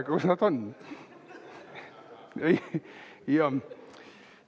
Aga kus need on?